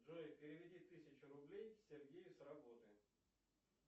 джой переведи тысячу рублей сергею с работы